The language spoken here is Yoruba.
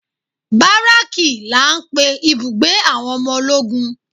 Baraki la ń pè ibùgbé àwọn ọmọ ológun.